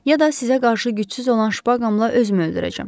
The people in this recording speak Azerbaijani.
Ya da sizə qarşı gücsüz olan şpaqamla özümü öldürəcəm.